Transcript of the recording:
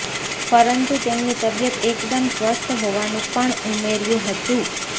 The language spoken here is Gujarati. પરંતુ તેમની તબીયત એકદમ સ્વસ્થ હોવાનું પણ ઉમેર્યું હતું